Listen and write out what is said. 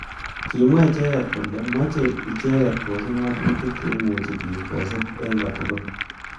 Kimwa icheket kole moche icheket kechop ngatutik cheimuch bik kosub eng kotukul